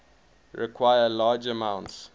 require large amounts